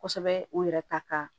Kosɛbɛ u yɛrɛ ta ka